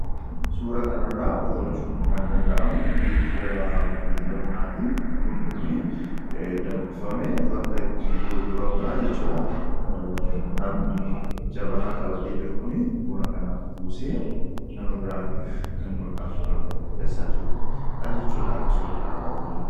Suura kanarraa hubachuun kan danda'amu, giddu-gala daldala bunaati. Bunni kun danfifamee bakka itti gurguramudha jechuudha. Namni jabanaa qabatee jiru kuni buna kana buusee, nama biraatiif kennuudhaaf kan qopheessaa jirudha jechuudha akka suura kanarraa hubannutti.